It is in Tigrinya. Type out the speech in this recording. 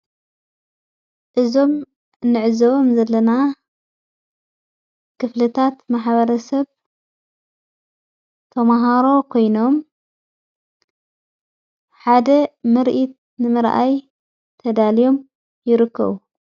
እዞም ንዕዘበም ዘለና ክፍልታት መሓበረ ሰብ ተምሃሮ ኮይኖም ሓደ ምርኢት ንመረኣይ ተዳልዮም ይርከቡ::